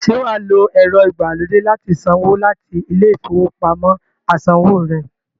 Ṣé wà á lo ẹ̀rọ-ìgbàlódé láti sanwó láti ilé-ìfowópamọ́-asanwó rẹ?